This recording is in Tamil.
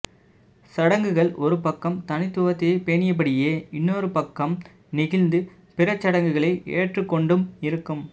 சடங்குகள் ஒருபக்கம் தனித்துவத்தை பேணியபடியே இன்னொருபக்கம் நெகிழ்ந்து பிறசடங்குகளை ஏற்றுக்கொண்டும் இருக்கும்